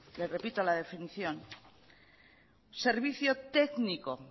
le repito la definición servicio